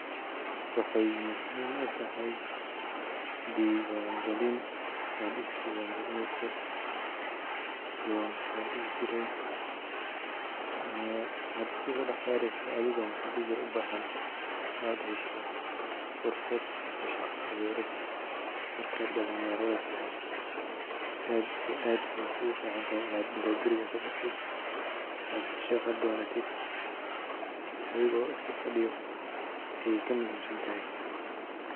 Waxaay muhiim utaxay, diwangalin adh isdhiwangalineysoo ,oyo mxa ladihijiree, een adh iskakadaxsareyo adhigo maxaladixijire, inadh xesho fursat ama shagaa aburidh, marka dalinyaridha taxaay adh iyo adh aya kulaficantaxay ina inta guriga kabaxdhidh adh shagaa donatidh, adhigo iskafadiyo, ayay kamuxiimsantaxay.